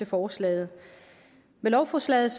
forslaget med lovforslaget